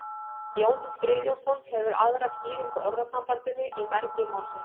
jón friðjónsson hefur aðra skýringu á orðasambandinu í mergi málsins